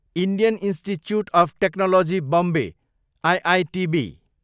Indian institute of technology Bombay, IITB